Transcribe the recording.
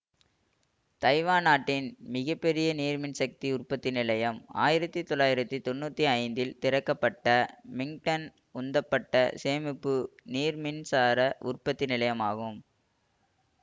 Taiwan நாட்டின் மிக பெரிய நீர் மின் சக்தி உற்பத்தி நிலையம் ஆயிரத்தி தொளாயிரத்தி தொன்னுத்தி ஐந்து இல் திறக்கப்பட்ட மிங்டன் உந்தப்பட்டசேமிப்பு நீர் மின்சார உற்பத்தி நிலையமாகும்